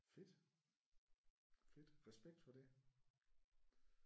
Fedt. Fedt. Respekt for det